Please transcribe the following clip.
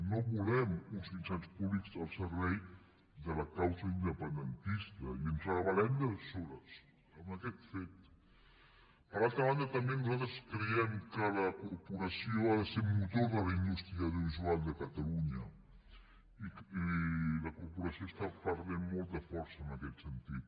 no volem uns mitjans públics al servei de la causa independentista i ens rebelper altra banda també nosaltres creiem que la corporació ha de ser motor de la indústria audiovisual de catalunya i la corporació està perdent molta força en aquest sentit